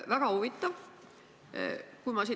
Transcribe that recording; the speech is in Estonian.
Väga huvitav!